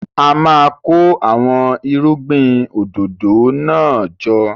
A máa kó àwọn irúgbìn òdòdó náà jọ.